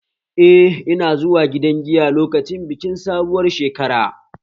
Eh, ina zuwa gidan giya lokacin bikin sabuwar shekara